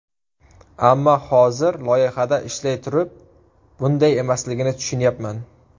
Ammo hozir, loyihada ishlay turib, bunday emasligini tushunyapman.